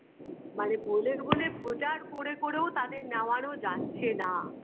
মানে বোলে বোলে প্রচার করে করেও তাদের নেওয়ানো যাচ্ছে না